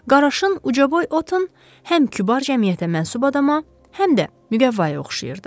Qaraşın ucaboy Oton həm kübar cəmiyyətə mənsub adama, həm də müqəvaya oxşayırdı.